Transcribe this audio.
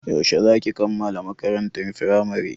Yaushe za ki kammala makarantar Firamare?